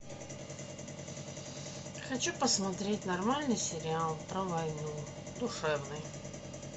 хочу посмотреть нормальный сериал про войну душевный